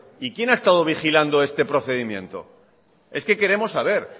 quién ha estado vigilando este procedimiento es que queremos saber